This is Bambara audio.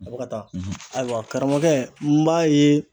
A bɛ ka taa; ayiwa karamɔgɔkɛ n b'a ye